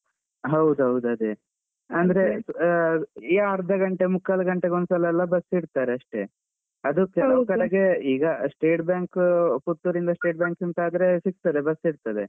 ಹೌದೌದು ಅದೇ. ಅಂದ್ರೆ ಈ ಅರ್ಧ ಗಂಟೆ ಮುಕ್ಕಾಲು ಗಂಟೆ ಒಂದ್ಸಲೆಲ್ಲಾ bus ಇಡ್ತಾರೆ ಅಷ್ಟೇ. ಅದೂ ಕೆಲವು ಕಡೆಗೆ ಈಗ State Bank ಪುತ್ತೂರಿಂದ State Bank ಅಂತಾದ್ರೆ ಸಿಗ್ತದೆ, bus ಇರ್ತದೆ.